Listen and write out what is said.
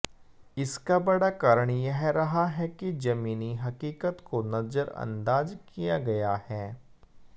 इसका बड़ा कारण यह रहा है कि जमीनी हकीकत को नजरअंदाज किया गया है